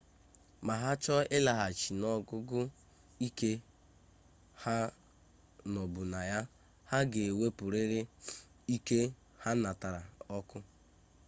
ma ha chọ ịlaghachi n'ogugo ike ha nọbụ na ya ha ga ewepụrịrị ike ha natara ọkụ